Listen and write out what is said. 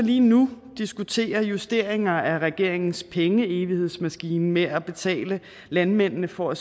lige nu diskuterer justeringer af regeringens pengeevighedsmaskine med at betale landmændene for at